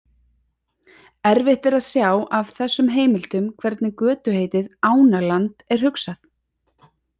Erfitt er að sjá af þessum heimildum hvernig götuheitið Ánaland er hugsað.